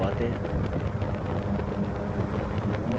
data filtering की मूल बातें